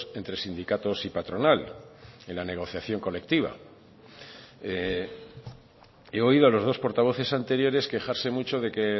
entre sindicatos y patronales en la negociación colectiva he oído a los dos portavoces anteriores quejarse mucho de que